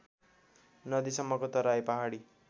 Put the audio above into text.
नदीसम्मको Terai Pahadi